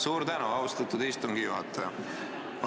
Suur tänu, austatud istungi juhataja!